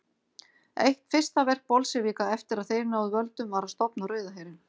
Eitt fyrsta verk Bolsévíka eftir að þeir náðu völdum var að stofna Rauða herinn.